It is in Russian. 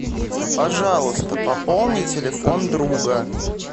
пожалуйста пополни телефон друга